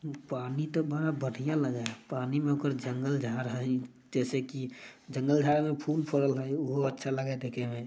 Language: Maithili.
पानी तो बड़ा बढ़िया लगे है। पानी में कुछ जंगल-झाड़ है जैसे की जंगल-झाड़ में फूल-फल है। ऊ हो अच्छा लगे हय देखे में ।